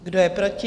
Kdo je proti?